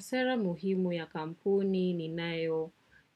Sera muhimu ya kampuni ninayo